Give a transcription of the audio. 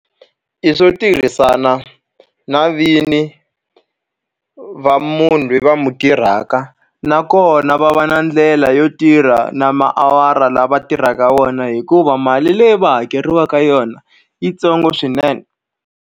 I swo tirhisana na vini va munhu loyi va n'wi tirhaka. Nakona va va na ndlela yo tirha na tiawara lawa va tirhaka wona hikuva mali leyi va hakeriwaka yona i yi ntsongo swinene.